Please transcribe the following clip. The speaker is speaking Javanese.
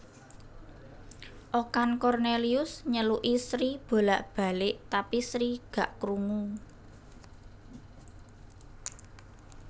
Okan Cornelius nyeluki Sri bolak balek tapi Sri gak krungu